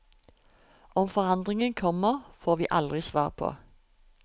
Om forandringen kommer, får vi aldri svar på.